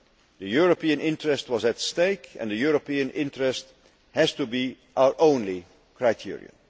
The European interest was at stake and the European interest has to be our only criterion.